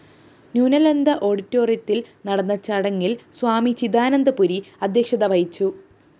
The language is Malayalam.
ന്യൂനളന്ദ ഓഡിറ്റോയിത്തില്‍ നടന്ന ചടങ്ങില്‍ സ്വാമി ചിദാനന്ദപുരി അദ്ധ്യക്ഷത വഹിച്ചു